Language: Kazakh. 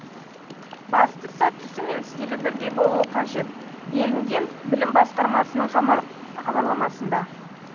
бастысы түсі мен стилі бірдей болуы қажет делінген білім басқармасының хабарламасында